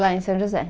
Lá em São José.